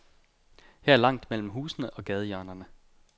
Her er langt mellem husene og gadehjørnerne.